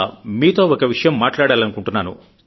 మీతో ఒక విషయం మాట్లాడాలనుకుంటున్నారు